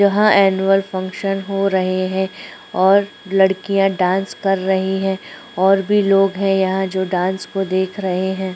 यहाँ annual function हो रहे है और लड़कियां डांस कर रही है और भी लोग है यहाँ पर जो डांस को देख रहे हैं।